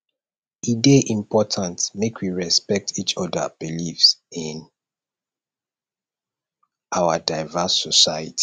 e dey important make we respect each oda beliefs in our diverse society